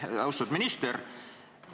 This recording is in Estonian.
Aitäh, austatud minister!